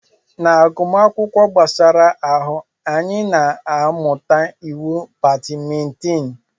Na agụmakwụkwọ gbasara ahụ, anyị na-amụta iwu badimintin.